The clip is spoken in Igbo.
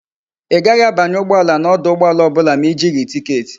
I gaghi a banye ugboala na oduugboala obula ma i jighi ticket